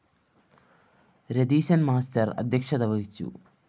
Ratheeshan‍ master അദ്ധ്യക്ഷത വഹിച്ചു